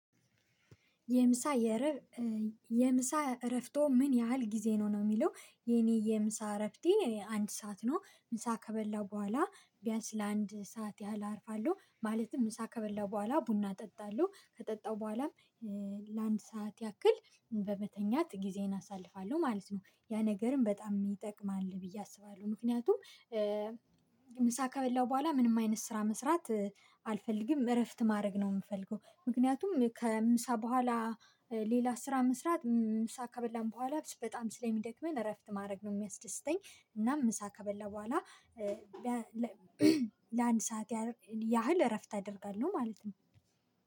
የምሳ የምሳ እረፍትወ ምን ያህል ጊዜ ነው ነው የሚለው? የኔ የምሳ እረፍቴ አንድ ሰዓት ነው ምሳ ከበላው በኋላ ቢያንስ ለአንድ ሰዓት ያህል አርፋለሁ። ማለትም ምሳ ከበላው በኋላ ቡና እጠጣለሁ ከጠጣሁ በኋላም ለአንድ ሰዓት ያክል በመተኛት ጊዜን አሳልፋለሁ ማለት ነው። ያ ነገርም በጣም ይጠቅማል ብዬ አስባለሁ ምክንያቱም። ምሳ ከበላሁ በኋላ ምንም አይነት ስራ መስራት አልፈልግም እረፍት ማድረግ ነው የምፈልገው። ምክንያቱም ከምሳ በኋላ ሌላ ስራ መስራት ምሳ ከበላን በኋላ በጣም ስለሚደክመን እረፍት ማድረግ ነው የሚያስደስተኝ። እና ምሳ ከበላሁ በኋላ ለአንድ ሰዓት ያህል እረፍት አደርጋለሁ ማለት ነው